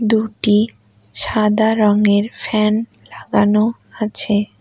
দুটি সাদা রংয়ের ফ্যান লাগানো আছে এ--